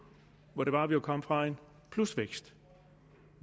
hvor det jo var at vi kom fra en plusvækst